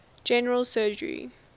general surgery